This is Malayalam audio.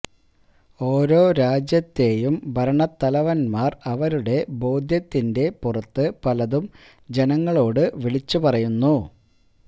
ഓരോ രാജ്യത്തെയും ഭരണത്തലവന്മാർ അവരുടെ ബോധ്യത്തിന്റെ പുറത്ത് പലതും ജനങ്ങളോട് വിളിച്ചു പറയുന്നു